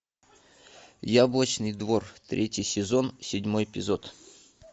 яблочный двор третий сезон седьмой эпизод